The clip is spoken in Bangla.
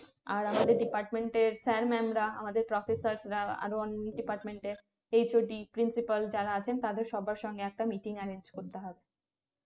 আর আমাদের department এর sir mum রা আমাদের professor রা আরো অনন্য department এর hod principal যারা আছেন তাদের সবার সঙ্গে একটা meeting arrange করতে হবে